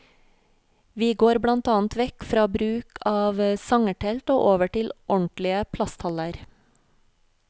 Vi går blant annet vekk fra bruk av sangertelt og over til ordentlige plasthaller.